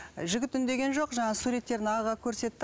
жігіт үндеген жоқ жаңағы суреттерін ағаға көрсетті